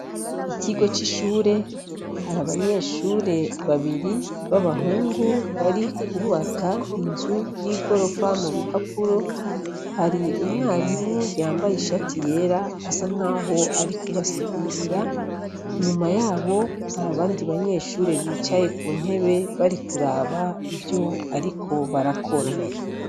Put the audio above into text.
Ikigo c'ishure hari abanyeshure babiri b'abahungu bari kwubaka inzu y'igorofa mu bipapuro. Hari umwarimu yambaye ishati yera asa nkaho ari kubasigurira, inyuma yabo hari abandi banyeshure bicaye ku ntebe bari kuraba ivyo ariko arakora.